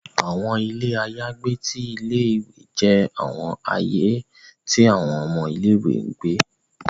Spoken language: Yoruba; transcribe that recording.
Awọn ile ayagbe ti ìlé-ìwé jẹ awọn aaye ti awọn ọmọ ìlé-ìwé n gbe